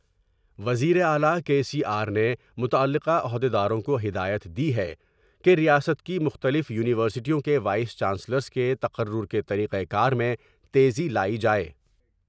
وزیراعلی کے سی آر نے متعلقہ عہد یداروں کو ہدایت دی ہے کہ ریاست کی مختلف یونیورسٹیوں کے وائس چانسلرس کے تقرر کے طریقہ کار میں تیزی لائی جاۓ ۔